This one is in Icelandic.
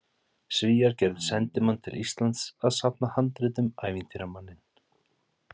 Svíar gerðu sendimann til Íslands að safna handritum, ævintýramanninn